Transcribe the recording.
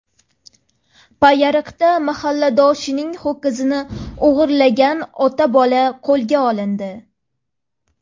Payariqda mahalladoshining ho‘kizini o‘g‘irlagan ota-bola qo‘lga olindi.